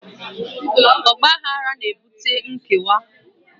Ọgbaghara na-ebute nkewa